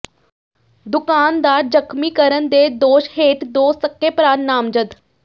ਦੁਕਾਨਦਾਰ ਜ਼ਖ਼ਮੀ ਕਰਨ ਦੇ ਦੋਸ਼ ਹੇਠ ਦੋ ਸਕੇ ਭਰਾ ਨਾਮਜ਼ਦ